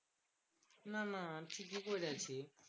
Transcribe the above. না না ঠিকই কইরা ছিস।